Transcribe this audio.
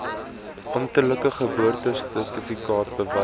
amptelike geboortesertifikaat bewys